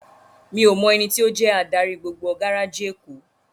Mi ó mò èniti ó jè ádári gbógbó gáráji Ékó